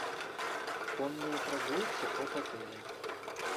конные прогулки от отеля